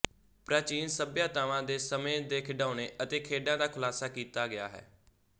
ਪ੍ਰਾਚੀਨ ਸਭਿਅਤਾਵਾਂ ਦੇ ਸਮੇਂ ਦੇ ਖਿਡਾਉਣੇ ਅਤੇ ਖੇਡਾਂ ਦਾ ਖ਼ੁਲਾਸਾ ਕੀਤਾ ਗਿਆ ਹੈ